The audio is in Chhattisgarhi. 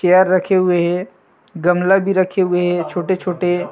चेयर रखे हुए हे गमला भी रखे हुए हे छोटे-छोटे--